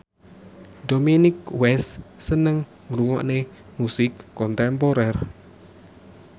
Dominic West seneng ngrungokne musik kontemporer